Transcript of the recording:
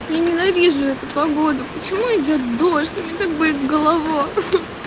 я ненавижу эту погоду почему идёт дождь у меня так болит голова